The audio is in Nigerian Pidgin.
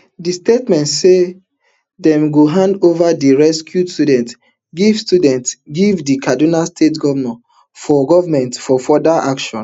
di statement say dem go hand ova di rescued students give students give di kaduna state government for further action